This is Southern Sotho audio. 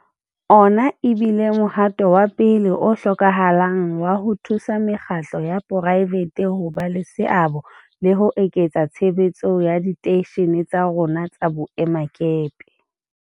Ona e bile mohato wa pele o hlokahalang wa ho thusa mekgatlo ya poraefete ho ba le seabo le ho eketsa tshebetso ya diteishene tsa rona tsa boemakepe.